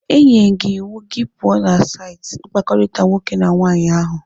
Enyere m gị iwu ka ị pụọ na saịtị mkpakọrịta nwoke na nwaanyị ahụ.